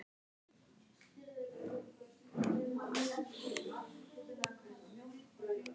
Matthildur, ferð þú með okkur á sunnudaginn?